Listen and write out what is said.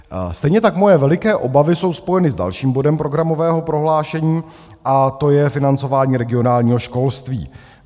Stejně tak moje veliké obavy jsou spojené s dalším bodem programového prohlášení a to je financování regionálního školství.